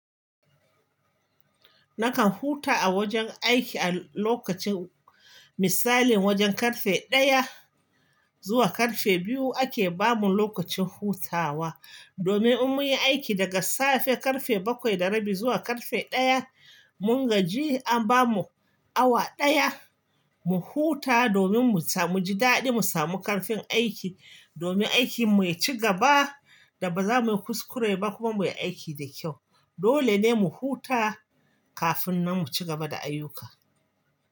Nakan huta a wajen aiki a lokacin misalin wajen karfe ɗaya zuwa karfe biyu ake bamu lokacin hutawa. Domin in mun yi aiki daga safe karfe bakwai da rabi zuwa karfe ɗaya, mun gaji a ba mu awa ɗaya mu huta domin mu ji daɗi mu samu ƙarfin aiki. Domin aikin mu ya ci gaba da ba za mu yi kuskure ba kuma mu yi aiki da kyau. Dole ne mu huta kafin nan mu ci gaba da ayyuka.